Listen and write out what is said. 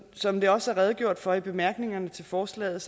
som der også er redegjort for i bemærkningerne til forslaget